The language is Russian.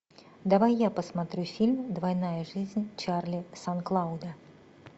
давай я посмотрю фильм двойная жизнь чарли сан клауда